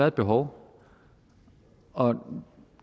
et behov og